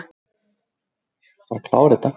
Var ekki ein